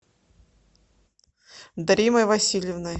даримой васильевной